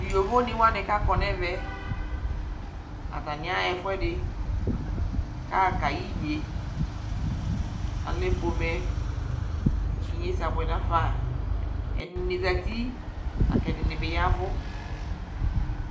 Tʋ yovonɩ wanɩ kʋ akɔ nʋ ɛvɛ yɛ, atanɩ aɣa ɛfʋɛdɩ kʋ aɣa kayɛ inye Alɛ pomɛ kʋ inyesɛ abʋɛ nafa Ɛdɩnɩ zati la kʋ ɛdɩnɩ bɩ ya ɛvʋ